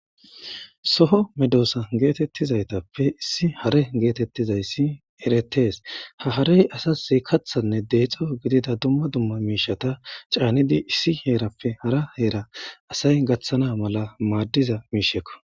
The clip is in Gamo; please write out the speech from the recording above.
soho medoosa geetettizaytappe issi hare geetettizayssi eretees ha harey asa iikathanne deexo gidida dumma dumma miishata caanidi issi heerappe hara heera asay gaththana mala maaddiza miishekko